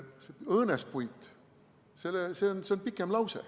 See õõnespuit, see oli pikem lause.